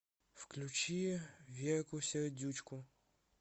включи верку сердючку